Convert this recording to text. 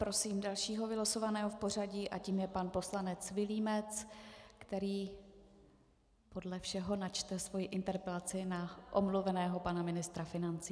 Prosím dalšího vylosovaného v pořadí a tím je pan poslanec Vilímec, který podle všeho načte svoji interpelaci na omluveného pana ministra financí.